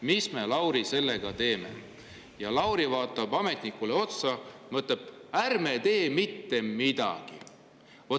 Mis me, Lauri, sellega teeme?", siis te vaataksite ametnikule otsa ja: "Ärme tee mitte midagi!